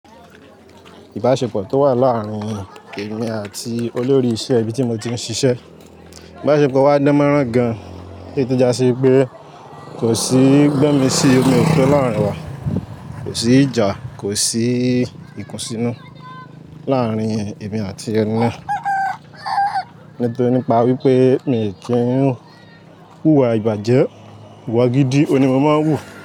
Ìbáṣepọ̀ tó wà láàrin èmi àti olórí iṣẹ́ ibi tí mo ti ń ṣiṣẹ́, ìbáṣepọ̀ wa dánmọ́rán gan-an. Tó tú já sí wípé kò sí gbomi ṣí omi òto láàrin wa, kò sí ìjà, kò sí ikùnsínú láàrin èmi àti ẹni naa. Nítoní pa wípé mi ò ti run wu ìwà ìbàjẹ́, ìwà gidi òní mo máa ń hù.